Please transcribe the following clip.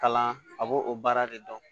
Kalan a b'o o baara de dɔn